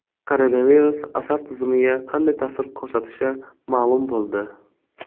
Koronavirus asab tizimiga qanday ta’sir ko‘rsatishi ma’lum bo‘ldi.